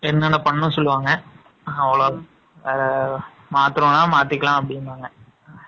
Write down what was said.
என்னென்ன பண்ணணும்னு சொல்லுவாங்க. அவ்வளவுதான். ஆங், மாத்தணும்ன்னா மாத்திக்கலாம், அப்படிம்பாங்க. ஆங்